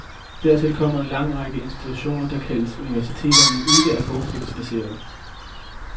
Dertil kommer en lang række institutioner, der kaldes universiteter, men ikke er forskningsbaserede.